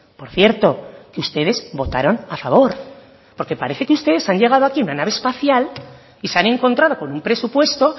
por cierto que ustedes votaron a favor porque parece que ustedes han llegado aquí en una nave espacial y se han encontrado con un presupuesto